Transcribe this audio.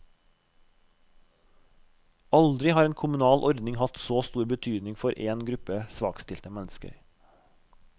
Aldri har en kommunal ordning hatt så stor betydning for en gruppe svakstilte mennesker.